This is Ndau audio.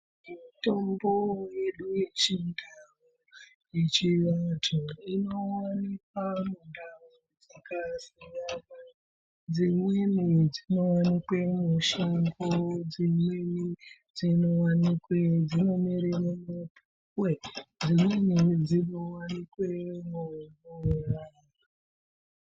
Mitombo yedu yechindau, yechivantu inowanikwa mundau dzakasiyana. Dzimweni dzinowanikwe mushango, dzimweni dzinomere mumapuwe, dzimweni dzinowanikwe mumvura.